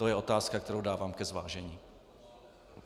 To je otázka, kterou dávám ke zvážení.